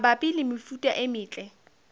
mabapi le mefuta e metle